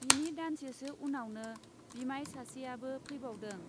बिनि दानसेसो उनावनो बिमाय सासेयाबो फैबावदों।